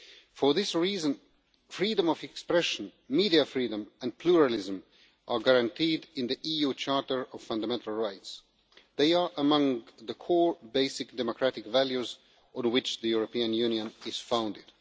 For this reason, freedom of expression, media freedom and pluralism are guaranteed in the EU Charter of Fundamental Rights. They are among the core basic democratic values on which the European Union is founded.